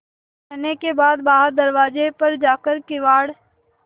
रहने के बाद बाहर दरवाजे पर जाकर किवाड़